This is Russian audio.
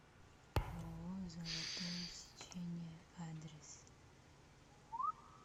ооо золотое сечение адрес